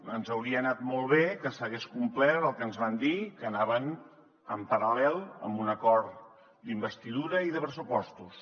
ens hauria anat molt bé que s’hagués complert el que ens van dir que anaven en paral·lel amb un acord d’investidura i de pressupostos